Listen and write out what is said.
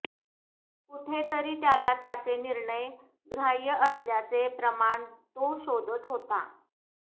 कुठेतरी त्याला त्याचे निर्णय ग्राह्य असल्याचे प्रमाण तो शोधत होता